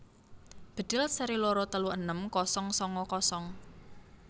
Bedhil seri loro telu enem kosong sanga kosong